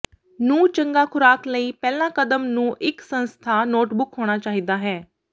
ਨੂੰ ਚੰਗਾ ਖੁਰਾਕ ਲਈ ਪਹਿਲਾ ਕਦਮ ਨੂੰ ਇੱਕ ਸੰਸਥਾ ਨੋਟਬੁੱਕ ਹੋਣਾ ਚਾਹੀਦਾ ਹੈ